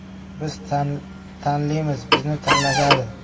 - Biz tanlimiz, bizni tanlashadi.